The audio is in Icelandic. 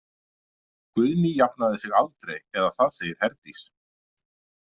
Guðný jafnaði sig aldrei eða það segir Herdís.